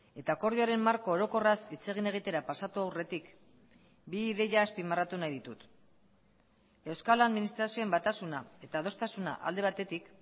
eta akordioaren marko orokorraz hitz egin egitera pasatu aurretik bi ideia azpimarratu nahi ditut euskal administrazioen batasuna eta adostasuna alde batetik